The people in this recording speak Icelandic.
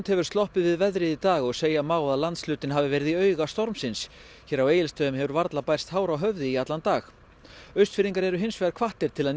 hefur sloppið við veðrið í dag og segja má að landshlutinn hafi verið í auga stormsins hér á Egilsstöðum hefur varla bærst hár á höfði í allan dag Austfirðingar eru hins vegar hvattir til að